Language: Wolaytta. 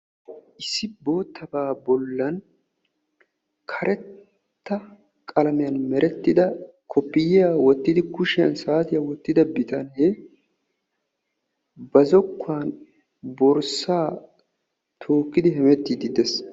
issi boottabaa bollaan karetta qalamiyaan merettida koopiyaa woottidi kuushshiyaan saatiyaa woottida bitanee ba zookkuwaan borssaa tookkidi hemeettidi de'ees.